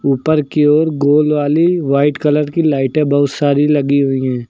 ऊपर की ओर गोल वाली वाइट कलर की लाइटें बहुत सारी लगी हुई हैं।